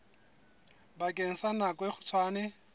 bakeng sa nako e kgutshwane